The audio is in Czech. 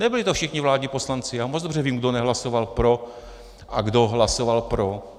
Nebyli to všichni vládní poslanci, já moc dobře vím, kdo nehlasoval pro a kdo hlasoval pro.